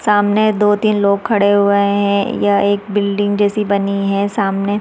सामने दो तीन लोग खड़े हुए है यह एक बिल्डिंग जैसी बनी है सामने--